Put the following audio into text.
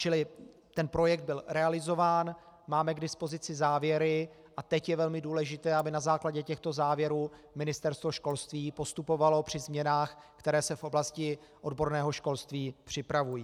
Čili ten projekt byl realizován, máme k dispozici závěry a teď je velmi důležité, aby na základě těchto závěrů Ministerstvo školství postupovalo při změnách, které se v oblasti odborného školství připravují.